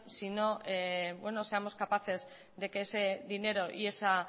sino que seamos capaces de que ese dinero y esa